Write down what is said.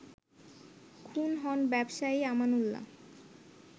খুন হন ব্যবসায়ী আমানউল্লাহ